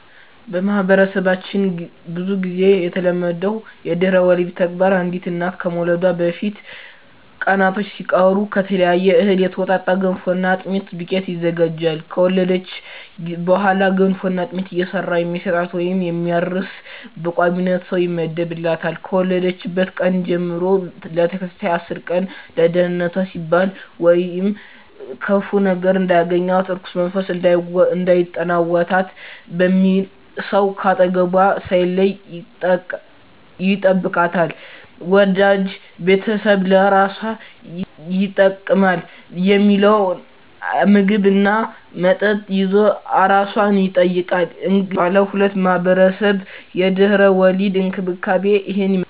በማህበረሰባችን ብዙ ግዜ የተለመደው የድህረ ወሊድ ተግባር አንዲት እናት ከመውለዷ በፊት ቀናቶች ሲቀሩ ከተለያየ እህል የተውጣጣ የገንፎና የአጥሚት ዱቄት ይዘጋጃል። ከወለደች በኋላ ገንፎና አጥሚት እየሰራ የሚሰጣት ወይም የሚያርስ በቋሚነት ሰው ይመደብላታል፣ ከወለደችበት ቀን ጀም ለተከታታይ አስር ቀን ለደንነቷ ሲባል ወይም ክፉ ነገር እንዳያገኛት(እርኩስ መንፈስ እንዳይጠናወታት) በሚል ሰው ከአጠገቧ ሳይለይ ይጠብቃታል፣ ወዳጅ ቤተሰብ ለአራሷ ይጠቅማል ሚለውን ምግብ እና መጠጥ ይዞ አራሷን ይጠይቃል። እንግዲህ ባለሁበት ማህበረሰብ የድህረ ወሊድ እንክብካቤ እሂን ይመስላል።